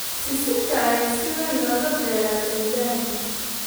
Sisinta ayaa si weyn looga beeraa Tanzania.